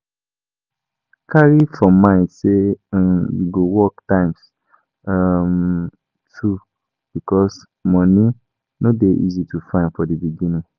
Carry for mind say um you go work times um two um because money no de easy to find for di beginning